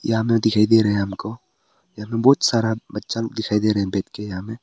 यहां में दिखाई दे रहे हैं हमको बहुत सारा बच्चा लोग दिखाई दे रहा है बैठ के यहां में।